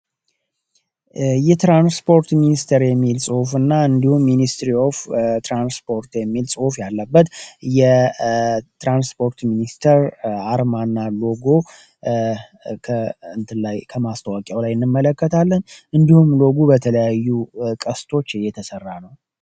የትራንስፖርት ሚኒስተር የሚል ጽሁፍ እና እንዲሁም ሚኒስትሪ ኦፍ ትራንስፖርት የሚል ጽፍ ያለበት የትራንስፖርት ሚኒስተር አርማ እና ሎጎ ከላይ ከማስተዋቂያው ላይ የንመለከትለን እንዲሁም ሎጉ በተለያዩ ቀስቶች እየተሠራ ነው።